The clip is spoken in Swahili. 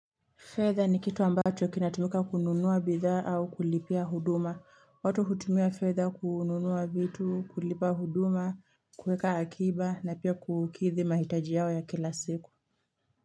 Fedha ni kitu ambacho kinatumika kununua bidhaa au kulipia huduma. Watu hutumia fedha kununua vitu, kulipa huduma, kuweka akiba na pia kukidhi mahitaji yao ya kila siku.